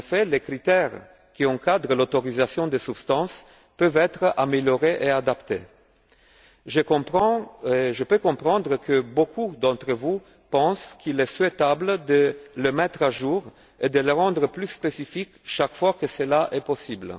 Les critères qui encadrent l'autorisation des substances peuvent être améliorés et adaptés. Je peux comprendre que beaucoup d'entre vous pensent qu'il est souhaitable de les mettre à jour et de les rendre plus précis chaque fois que c'est possible.